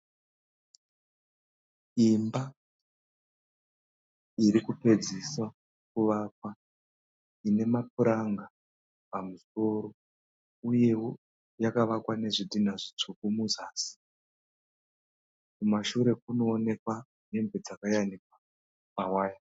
Imba iri kupedziswa kuvakwa ine mapuranga pamusoro uyewo yakavakwa nezvidhinha zvitsvuku muzasi. Kumashure kurikuwonekwa hembe dzakayanikwa pawaya.